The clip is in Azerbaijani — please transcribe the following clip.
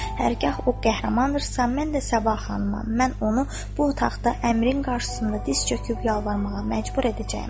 Hərgah o qəhrəmandırsa, mən də Sabah xanımam, mən onu bu otaqda əmrin qarşısında diz çöküb yalvarmağa məcbur edəcəyəm.